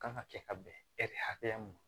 Kan ka kɛ ka bɛn hakɛya min ma